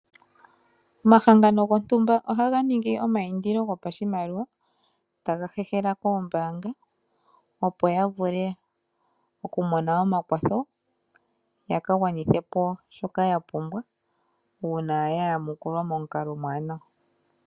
Omahangano gontumba oha ga ningi omaindilo gopashimaliwa ,taga hehela koombaanga opo ga vule okumona omakwatho ga ka gwanithe po shoka gapumbwa uuna ga yamukulwa momukalo omuwaanawa.